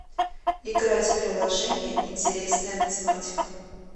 играть в приложение интересная математика